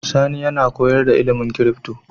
Sani yAna koyar da ilimin crypto